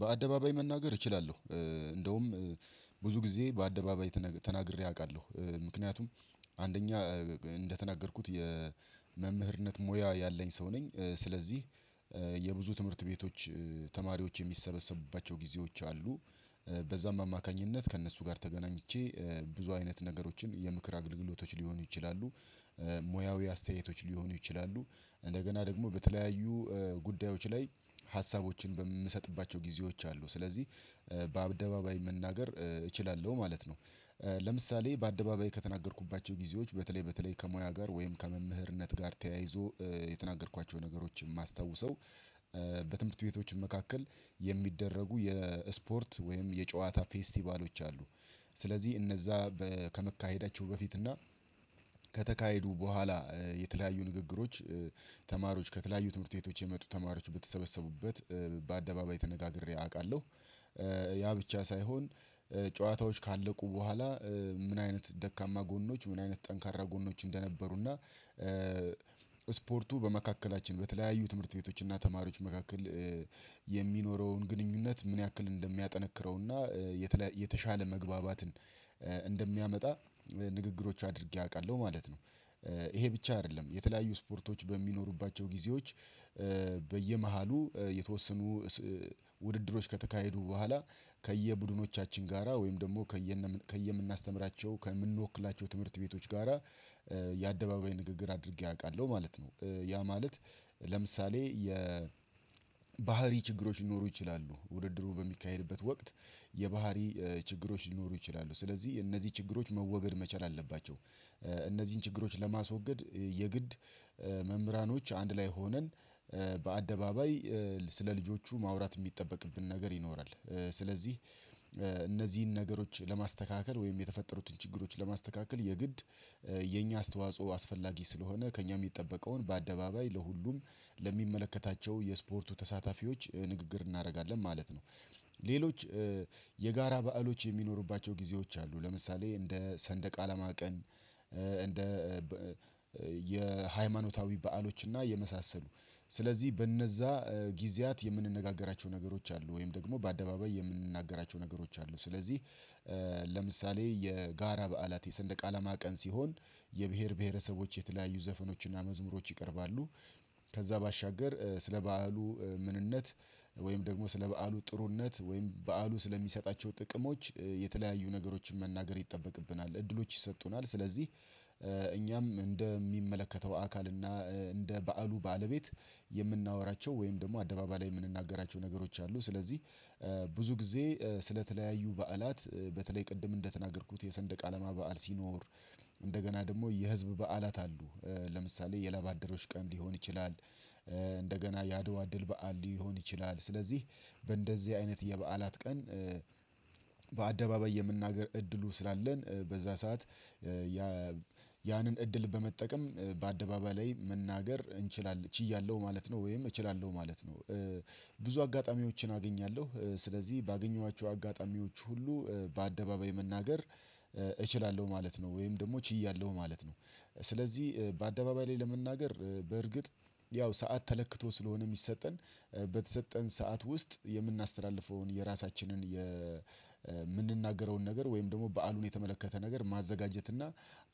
በአደባባይ መናገር እችላለሁ እንደውም ብዙ ጊዜ በአደባባይ ተናግሬ አውቃለሁ ምክንያቱም አንደኛ እንደተናገርኩት የመምህርነት ሙያ ያለኝ ሰው ነኝ ስለዚህ የብዙ ትምህርት ቤቶች ተማሪዎች የሚሰበሰቡባቸው ጊዜዎች አሉ በዚያም አማካኝነት ከእነሱ ጋር ተገናኝቼ ብዙ አይነት ነገሮችን የምክር አገልግሎቶች ሊሆኑ ይችላሉ ሙያዊ አስተያየቶች ሊሆኑ ይችላሉ እንደገና ደግሞ በተለያዩ ጉዳዮች ላይ ሀሳቦችን በምሰጥባቸው ጊዜዎች አሉ ስለዚህ በአደባባይ መናገር እችላለሁ ማለት ነው። ለምሳሌ በአደባባይ ከተናገርኩባቸው ጊዜዎች በተለይ በተለይ ከሙያ ጋር ወይም ከመምህርነት ጋር ታያይዞ የተናገርኳቸውን ነገሮችን የማስታውሰው በትምህርት ቤቶች መካከል የሚደረጉ የስፖርት ወይም የጨዋታ ፌስቲቫሎች አሉ። ስለዚህ እነዚያ ከመካሄዳቸው በፊት እና ከተካሄዱ በኋላ የተለያዩ ንግግሮች ተማሪዎች ከተለያዩ ትምህርት ቤቶች የመጡ ተማሪዎች በተሰበሰቡበት በአደባባይ ተነጋግሬ አውቃለሁ። ያ ብቻ ሳይሆን ጨዋታዎች ካለቁ በኋላ ምን አይነት ደካማ ጎኖች ምን አይነት ጠንካራ ጎኖች እንደነበሩና ስፖርቱ በመካከላችን በተለያዩ ትምህርት ቤቶች እና ተማሪዎች መካከል የሚኖረውን ግንኙነት ምን ያክል እንደሚያጠነክረውና የተሻለ መግባባትን እንደሚያመጣ ንግግሮች አድርጌ አውቃለሁ ማለት ነው። ይሄ ብቻ አይደለም የተለያዩ ስፖርቶች በሚኖሩባቸው ጊዜዎች በየመሃሉ የተወሰኑ ውድድሮች ከተካሄዱ በኋላ ከየቡድኖቻችን ጋራ ወይም ደግሞ ከየ ከየምናስተምራቸው ከምንወክላቸው ትምህርት ቤቶች ጋራ የአደባባይ ንግግር አድርጌ አውቃለሁ ማለት ነው። ያ ማለት ለምሳሌ የ ባህሪ ችግሮች ሊኖሩ ይችላሉ ውድድሩ በሚካሄድበት ወቅት የባህሪ ችግሮች ሊኖሩ ይችላሉ ስለዚህ እነዚህ ችግሮች መወገድ መቻል አለባቸው። እነዚህን ችግሮች ለማስወገድ የግድ መምህራኖች አንድ ላይ ሆነን በአደባባይ ስለ ልጆቹ ማውራት የሚጠበቅብን ነገር ይኖራል ስለዚህ እነዚህን ነገሮች ለማስተካከል ወይም የተፈጠሩትን ችግሮች ለማስተካከል የግድ የእኛ አስተዋጽኦ አስፈላጊ ስለሆነ ከእኛ የሚጠበቀውን በአደባባይ ለሁሉም ለሚመለከታቸው የስፖርቱ ተሳታፊዎች ንግግር እናደርጋለን ማለት ነው። ሌሎች የጋራ በዓሎች የሚኖሩባቸው ጊዜዎች አሉ ለምሳሌ እንደ ሰንደቃለማ ቀን እንደ የሃይማኖታዊ በዓሎች እና የመሳሰሉ ስለዚህ በነዚያ ጊዜያት የምንነጋገራቸው ነገሮች አሉ ወይም ደግሞ በአደባባይ የምንናገራቸው ነገሮች አሉ ስለዚህ ለምሳሌ የጋራ በዓላት የሰንደቅ አላማ ቀን ሲሆን የብሄር ብሄረሰቦች የተለያዩ ዘፈኖችና መዝሙሮች ይቀርባሉ። ከዚያ ባሻገር ስለ በዓሉ ምንነት ወይም ደግሞ ስለ በዓሉ ጥሩነት ወይም በዓሉ ስለሚሰጣቸው ጥቅሞች የተለያዩ ነገሮችን መናገር ይጠበቅብናል እድሎች ይሰጡናል ስለዚህ እኛም እንደሚመለከተው አካል እና እንደ በዓሉ ባለቤት የምናወራቸው ወይም ደግሞ አደባባይ የምንናገራቸው ነገሮች አሉ ስለዚህ ብዙ ጊዜ ስለተለያዩ በዓላት በተለይ ቅድም እንደተናገርኩት የሰንደቅ አለማ በዓል ሲኖር እንደገና ደግሞ የህዝብ በዓላት አሉ ለምሳሌ የለባደሮች ቀን ሊሆን ይችላል። እንደገና ያአደዋ ድል በዓል ሊሆን ይችላል ስለዚህ በእንደዚህ አይነት የበዓላት ቀን በአደባባይ የምናገር እድሉ ስላለን በዚያ ሰዓት ያ ያንን እድል በመጠቀም በአደባባይ ላይ መናገር እንችላለን ችያለሁ ማለት ነው ወይም እችላለሁ ማለት ነው። ብዙ አጋጣሚዎችን አገኛለሁ ስለዚህ ባገኘኋቸው አጋጣሚዎች ሁሉ በአደባባይ መናገር እችላለሁ ማለት ነው ወይም ደግሞ ችያለሁ ማለት ነው። ስለዚህ በአደባባይ ላይ ለመናገር በእርግጥ ያው ሰዓት ተለክቶ ስለሆነ የሚሰጠን በተሰጠን ሰዓት ውስጥ የምናስተላልፈውን የራሳችንን የምንናገረውን ነገር ወይም ደግሞ በዓሉን የተመለከተ ነገር ማዘጋጀት እና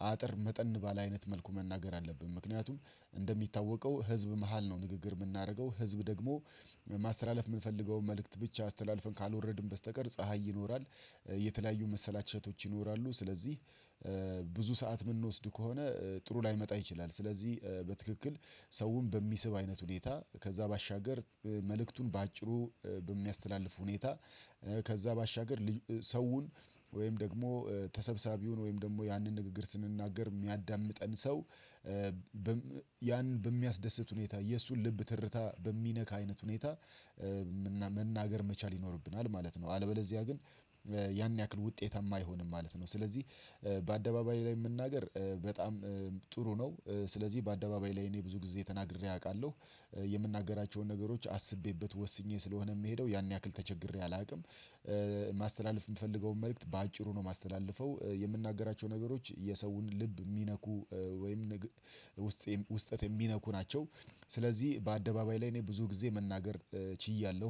አጠር መጠን ባለ አይነት መልኩ መናገር አለብን ምክንያቱም እንደሚታወቀው ህዝብ መሃል ነው ንግግር የምናደርገው ህዝብ ደግሞ ማስተላለፍ የምንፈልገውን መልእክት ብቻ አስተላልፈን ካልወረድን በስተቀር ፀሀይ ይኖራል። የተለያዩ መሰላቸቶች ይኖራሉ ስለዚህ ብዙ ሰዓት የምንወስድ ከሆነ ጥሩ ላይመጣ ይችላል ስለዚህ በትክክል ሰውን በሚስብ አይነት ሁኔታ ከዚያ ባሻገር መልእክቱን በአጭሩ በሚያስተላልፍ ሁኔታ ከዚያ ባሻገር ሰውን ወይም ደግሞ ተሰብሰቢውን ወይም ደግሞ ያንን ንግግር ስንናገር የሚያዳምጠን ሰው ያንን በሚያስደስት ሁኔታ የእሱን ልብ ትርታ በሚነካ አይነት ሁኔታ መናገር መቻል ይኖርብናል ማለት ነው። አለበዚያ ግን ያን ያክል ውጤታማ አይሆንም ማለት ነው። ስለዚህ በአደባባይ ላይ መናገር በጣም ጥሩ ነው ስለዚህ በአደባባይ ላይ እኔ ብዙ ጊዜ ተናግሬ አውቃለሁ። የምናገራቸውን ነገሮች አስቤበት ወስኜ ስለሆነ የምሄደው ያን ያክል ተቸግሬ አላውቅም። ማስተላለፍ የምፈልገውን መልእክት በአጭሩ ነው የማስተላልፈው የምንናገራቸው ነገሮች የሰውን ልብ የሚነኩ ወይም ውስጥ ውስጠት የሚነኩ ናቸው። ስለዚህ በአደባባይ ላይ እኔ ብዙ ጊዜ መናገር ችያለሁ